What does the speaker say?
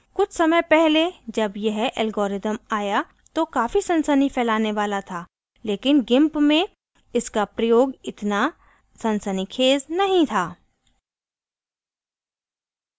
कुछ समय पहले जब यह algorithm आया तो काफ़ी सनसनी फ़ैलाने वाला था लेकिन gimp में इसका प्रयोग it सनसनीखेज़ नहीं था